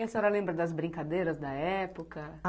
E a senhora lembra das brincadeiras da época?